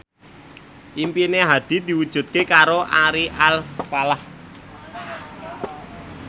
impine Hadi diwujudke karo Ari Alfalah